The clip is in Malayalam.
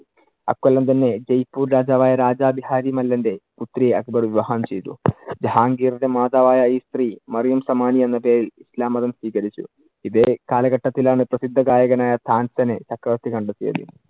അക്കൊല്ലം തന്നെ ജയ്‌പൂർ രാജാവായ രാജ ബിഹാരി മല്ലന്‍റെ പുത്രിയെ അക്ബർ വിവാഹം ചെയ്തു. ജഹാൻഗീറിന്‍റെ മാതാവായ ഈ സ്ത്രീ മറിയം സമാനീ എന്ന പേരിൽ ഇസ്ലാം മതം സ്വികരിച്ചു. ഇതെ കാലഘട്ടത്തിലാണ് പ്രസിദ്ധ ഗായകൻ ആയ താന്‍സനെ ചക്രവർത്തി കണ്ടെത്തിയത്.